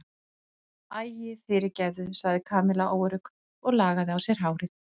Æi, fyrirgefðu sagði Kamilla óörugg og lagaði á sér hárið.